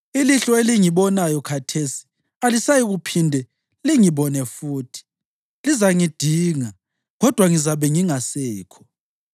Ilihlo elingibonayo khathesi alisayikuphinde lingibone futhi; lizangidinga, kodwa ngizakuba ngingasekho.